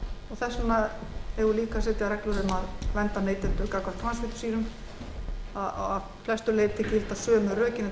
þess vegna eigum við líka að setja reglur um að vernda neytendur gegn transfitusýrum að flestu leyti gilda sömu rökin